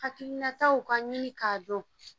Hakilinataw ka ɲini k'a dɔn.